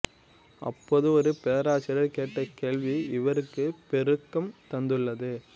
அப்போது ஒரு பேராசிரியர் கேட்ட கேள்வி இவருக்குப் பேரூக்கம் தந்துள்ளது